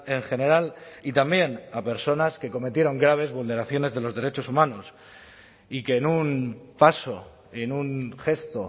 en general y también a personas que cometieron graves vulneraciones de los derechos humanos y que en un paso en un gesto